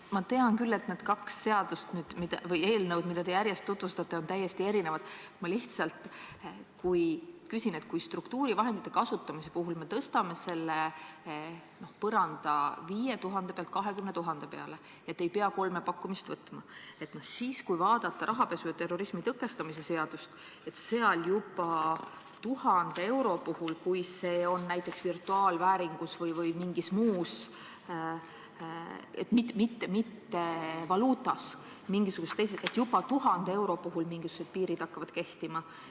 Ma tean küll, et need kaks seadust või eelnõu, mida te siin järjest tutvustate, on täiesti erinevad, aga ma lihtsalt küsin, et kui me struktuurivahendite kasutamise puhul tõstame selle n-ö põranda 5000 euro pealt 20 000 euro peale – et ei pea kolme pakkumist võtma –, siis rahapesu ja terrorismi tõkestamise seadust vaadates hakkavad juba 1000 euro puhul, kui see on näiteks virtuaalvääringus või mingis muus vormis kui valuutas, mingisugused piirid kehtima.